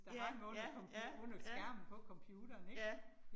Ja ja ja ja. Ja